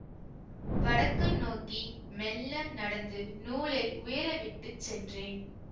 வடக்கு நோக்கி மெல்ல நடந்து நூலை உயர விட்டு சென்றேன்